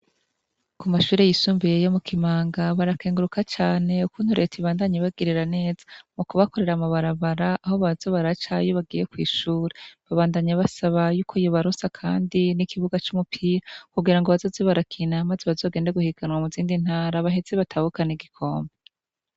Kw'ivuriro rikuru ryo ngahamurutana barakenguruka cane igenereti igumye bafata mu mugongo mu kubahereza ibikoresho bitandukanyi na canecane ivyogupima ingwara zitandukanye babandanya basaba yuko iyobaronsa, kandi n'amabomba y'amazi, ndetse n'izindi funguruzo kugira ngo abazaze barugarahantu kugira ngo ntihagira abaksuma bazaza kuha bomora iyobasanzehugaye yebice bibagora ingene bugurura barakenguruka cane babaye basaba, kandi ko bbaronsa n'ibindi bikoresho vyinshi.